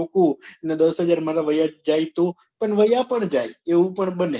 દસ હજાર મારા વાયા જાય તો અને વાયા પણ જાય એવું પણ બને